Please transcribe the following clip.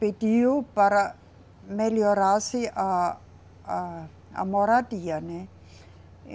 pediu para melhorar-se a, a, a moradia, né.